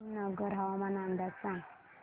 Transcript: करीमनगर हवामान अंदाज सांग